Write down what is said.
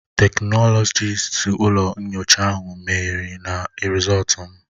Teknọlọkist ụlọ nyocha ahụ mehiere na Rịzọltu m